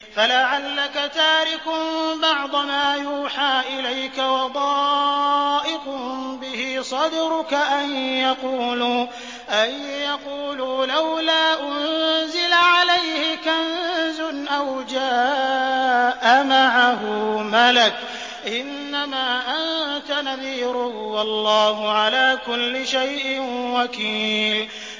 فَلَعَلَّكَ تَارِكٌ بَعْضَ مَا يُوحَىٰ إِلَيْكَ وَضَائِقٌ بِهِ صَدْرُكَ أَن يَقُولُوا لَوْلَا أُنزِلَ عَلَيْهِ كَنزٌ أَوْ جَاءَ مَعَهُ مَلَكٌ ۚ إِنَّمَا أَنتَ نَذِيرٌ ۚ وَاللَّهُ عَلَىٰ كُلِّ شَيْءٍ وَكِيلٌ